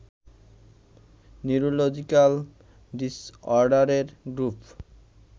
neurological ডিসঅর্ডারের group